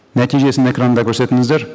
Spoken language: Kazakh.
нәтижесін экранда көрсетіңіздер